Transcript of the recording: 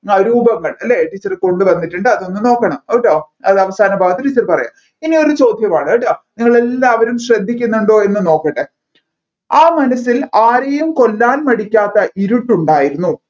രൂപങ്ങൾ അല്ലെ teacher കൊണ്ടുവന്നിട്ടുണ്ട് അതൊന്നു നോക്കണം കേട്ടോ അത് അവസാന ഭാഗത്ത് teacher പറയാം ഇനി ഒരു ചോദ്യമാണ് നിങ്ങളെല്ലാവരും ശ്രദ്ധിക്കുന്നുണ്ടോ എന്ന് നോക്കട്ടെ